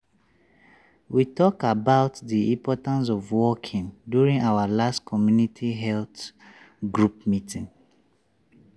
we talk about the importance of walking during our last community health group meeting.